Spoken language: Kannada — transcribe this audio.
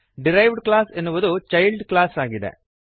ಡಿರೈವ್ಡ್ ಕ್ಲಾಸ್ ಎನ್ನುವುದು ಚೈಲ್ಡ್ ಕ್ಲಾಸ್ ಆಗಿದೆ